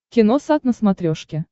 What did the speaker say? киносат на смотрешке